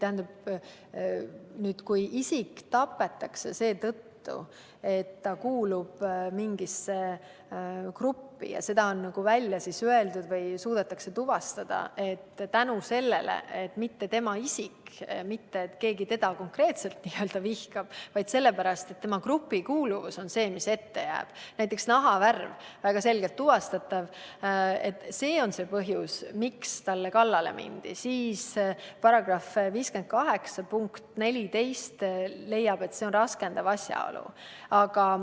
Aga kui isik tapetakse seetõttu, et ta kuulub mingisse gruppi, ja seda on välja öeldud või suudetakse tuvastada, et teda ei tapetud mitte sellepärast, et keegi teda konkreetselt vihkaks, vaid sellepärast, et tema grupikuuluvus on see, mis ette jääb – näiteks on tema nahavärv väga selgelt tuvastatav ja just nahavärv on põhjus, miks talle kallale mindi –, siis § 58 punkt 14 leiab, et see on raskendav asjaolu.